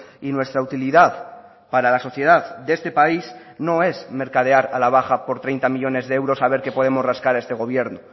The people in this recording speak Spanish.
y nuestra utilidad para la sociedad de este país no es mercadear a la baja por treinta millónes de euros a ver que podemos rascar a este gobierno